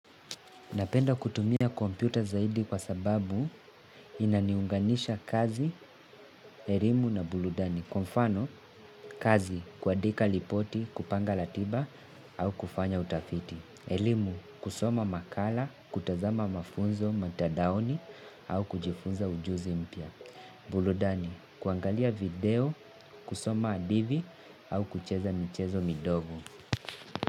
Napenda kutumia kompyuta zaidi kwa sababu inaniunganisha kazi, elimu na burudani. Kwa mfano, kazi, kuandika lipoti, kupanga latiba, au kufanya utafiti. Elimu, kusoma makala, kutazama mafunzo, mutandaoni, au kujifunza ujuzi mpya. Burudani, kuangalia video, kusoma hadithi, au kucheza michezo mindogo.